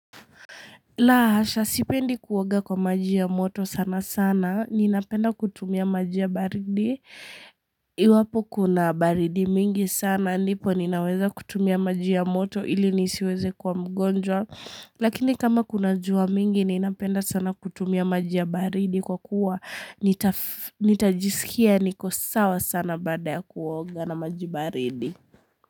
La hasha sipendi kuoga kwa maji ya moto sana sana. Ninapenda kutumia maji ya baridi. Iwapo kuna baridi mingi sana. Nipo ninaweza kutumia maji ya moto ili nisiweze kuwa mgonjwa. Lakini kama kuna jua mingi ninapenda sana kutumia maji ya baridi kwa kuwa nitajisikia niko sawa sana bada ya kuoga na maji baridi.